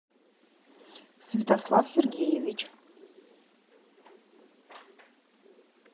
святослав сергеевич